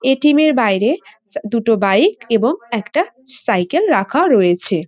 ATM. এর বাইরে সা দুটো বাইক এবং একটা সাইকেল রাখা রয়েছে।